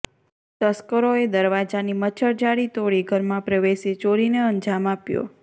તસ્કરોએ દરવાજાની મચ્છરજાળી તોડી ઘરમાં પ્રવેશી ચોરીને અંજામ આપ્યો